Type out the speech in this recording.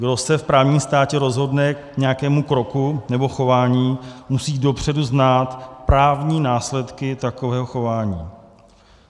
Kdo se v právním státě rozhodne k nějakému kroku nebo chování, musí dopředu znát právní následky takového chování.